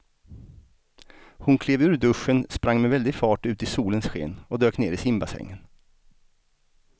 Hon klev ur duschen, sprang med väldig fart ut i solens sken och dök ner i simbassängen.